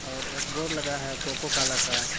और एक बोर्ड लगा है कोको कोला का।